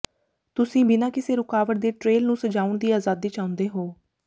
ਤੁਸੀਂ ਬਿਨਾਂ ਕਿਸੇ ਰੁਕਾਵਟ ਦੇ ਟਰੇਲ ਨੂੰ ਸਜਾਉਣ ਦੀ ਆਜ਼ਾਦੀ ਚਾਹੁੰਦੇ ਹੋ